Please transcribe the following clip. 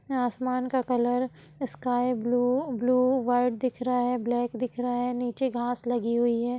जहां आसमान का colour sky blue blue white दिख रहा है ब्लैक दिख रहा है| नीचे घास लगी हुई है।